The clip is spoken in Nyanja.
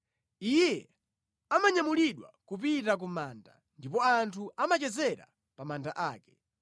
Iye amanyamulidwa kupita ku manda ndipo anthu amachezera pa manda ake.